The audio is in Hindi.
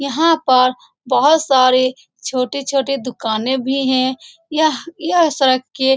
लोग आते है यहाँ पर फूलो की माला मिलती है फूल मिलते है फूल हम लोग खरीदते है सजावट करते है पूजा करते है ।